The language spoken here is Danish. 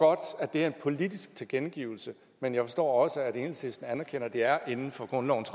at det er en politisk tilkendegivelse men jeg forstår også at enhedslisten anerkender at det er inden for grundlovens